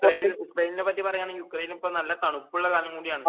യുക്രൈനെ പറ്റി പറയുകയാണെങ്കിൽ യുക്രൈൻ ഇപ്പോ നല്ല തണുപ്പുള്ള കാലം കൂടിയാണ്